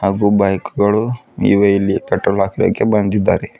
ಹಾಗು ಬೈಕ್ ಗಳು ಇವೆ ಇಲ್ಲಿ ಪೆಟ್ರೋಲ್ ಹಾಕಲಿಕ್ಕೆ ಬಂದಿದಾರೆ.